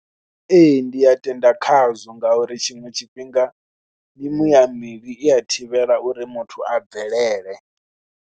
Ee ndi a tenda khazwo ngauri tshiṅwe tshifhinga mimuya mivhi i a thivhela uri muthu a bvelele.